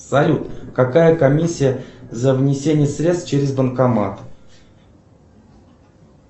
салют какая комиссия за внесение средств через банкомат